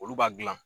Olu b'a gilan